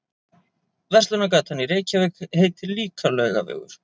Verslunargatan í Reykjavík heitir líka Laugavegur.